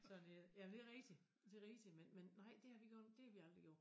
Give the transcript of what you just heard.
Sådan er det jamen det rigtig det rigtig men men nej det har vi godt det har vi aldrig gjort